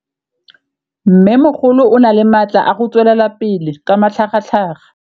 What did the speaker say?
Mmêmogolo o na le matla a go tswelela pele ka matlhagatlhaga.